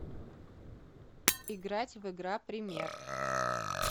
играть в игра пример